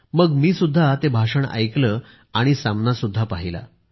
मग मीसुद्धा ते भाषण ऐकले आणि सामनासुद्धा पाहिला